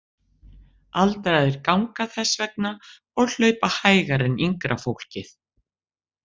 Aldraðir ganga þess vegna og hlaupa hægar en yngra fólk.